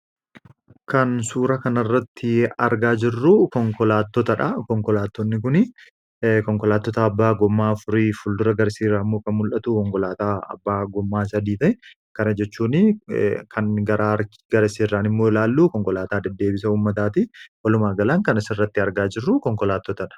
kan suura kana irratti argaa jirru konkolaattota abbaa gommaa afurii fuldura agarsiirraa muka mul'atu konkolaataa abbaa gommaa sadiiti kana jechuun kan gara garasiirraan immoo ilaallu konkolaataa deddeebisa ummataati walumaa galaatti kan as irratti argaa jirru konkolaattootadhaa.